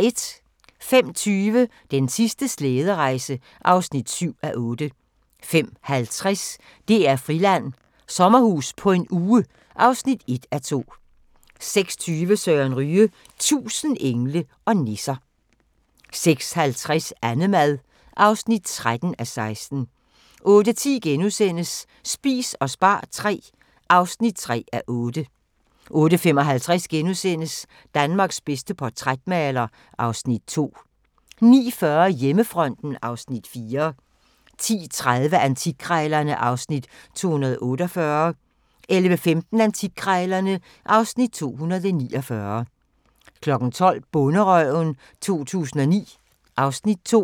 05:20: Den sidste slæderejse (7:8) 05:50: DR-Friland: Sommerhus på en uge (1:2) 06:20: Søren Ryge – 1000 engle og nisser 06:50: Annemad (13:16) 08:10: Spis og spar III (3:8)* 08:55: Danmarks bedste portrætmaler (Afs. 2)* 09:40: Hjemmefronten (Afs. 4) 10:30: Antikkrejlerne (Afs. 248) 11:15: Antikkrejlerne (Afs. 249) 12:00: Bonderøven 2009 (Afs. 2)